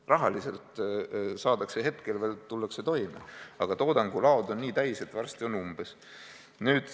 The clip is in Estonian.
Rahaliselt tullakse hetkel veel toime, aga toodangulaod on nii täis, et varsti on umbes.